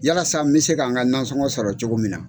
Walasa n bɛ se kan ka nasɔngɔ sɔrɔ cogo min na.